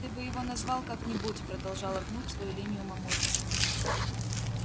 ты бы его назвал как-нибудь продолжала гнуть свою линию мамулька